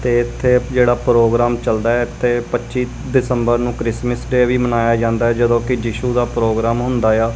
ਤੇ ਇੱਥੇ ਜਿਹੜਾ ਪ੍ਰੋਗਰਾਮ ਚਲਦਾ ਆ ਇੱਥੇ ਪੱਚੀ ਦਿਸੰਬਰ ਨੂੰ ਕ੍ਰਿਸਮਸ ਡੇ ਵੀ ਮਨਾਇਆ ਜਾਂਦਾ ਆ ਜਦੋਂ ਕਿ ਯਿਸ਼ੂ ਦਾ ਪ੍ਰੋਗਰਾਮ ਹੁੰਦਾ ਆ।